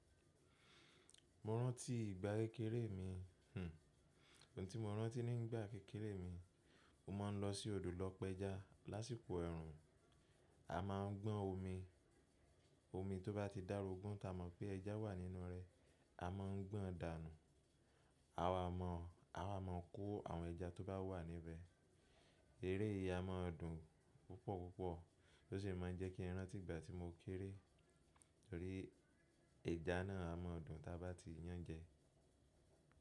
Mo rántí ìgbà kékeré mi, hhn, ohun tí mo rántí ní ìgbà kékeré mi, mo máa ń lọ sí odò lọ pé ẹja lásìkò ẹ̀rùn. A máa ń gbọ́n omi, omi tó bá ti dàrúgùn ta mọ̀ pé ẹja wà nínú rẹ̀, a mọ̀ ń gbọ́n dànù. A wà mọ̀, a wà mọ̀ kó àwọn ẹja tó bá wà níbẹ̀. Eré yìí a mọ̀ dùn púpọ̀ púpọ̀ tó sì máa ń jẹ́ kí n rántí ìgbà tí mo kéré torí ẹja náà a mọ̀ dùn ta bá ti yán jẹ.